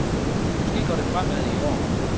Måske går det fremad i år.